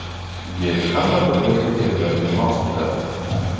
Gel hamma turdagi terilarga mos keladi.